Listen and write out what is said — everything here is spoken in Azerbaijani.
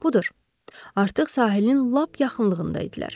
Budur, artıq sahilin lap yaxınlığında idilər.